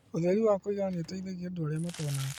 ũtheri wa kũigana nĩũteithagia andũ arĩa matonaga